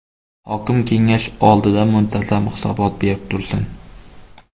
Hokim kengash oldida muntazam hisobot berib tursin.